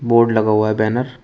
Board लगा हुआ है बैनर ।